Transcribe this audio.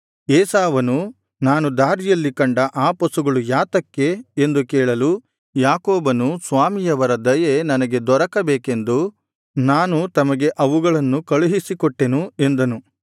ಏಸಾವನು ನಾನು ದಾರಿಯಲ್ಲಿ ಕಂಡ ಆ ಪಶುಗಳು ಯಾತಕ್ಕೆ ಎಂದು ಕೇಳಲು ಯಾಕೋಬನು ಸ್ವಾಮಿಯವರ ದಯೆ ನನಗೆ ದೊರಕಬೇಕೆಂದು ನಾನು ತಮಗೆ ಅವುಗಳನ್ನು ಕಳುಹಿಸಿಕೊಟ್ಟೆನು ಎಂದನು